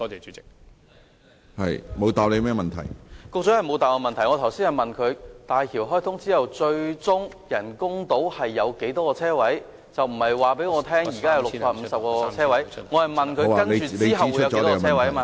主席，局長沒有回答我的補充質詢，我剛才問他大橋開通之後，人工島最終有多少泊車位，我並不是要他告訴我，現時有650個泊車位，我是問他之後會有多少泊車位？